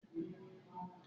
Ṣe o ṣe panṣaga ni?